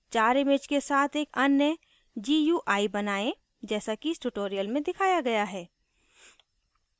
चार images के साथ एक अन्य gui बनाएँ जैसा कि इस tutorial में दिखाया गया है